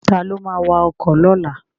Ta ló ma wa ọkọ̀ lọ́la?